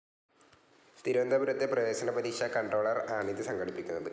തിരുവനന്തപുരത്തെ പ്രവേശന പരീക്ഷാ കൺട്രോളർ ആണിത്‌ സംഘടിപ്പിക്കുന്നത്‌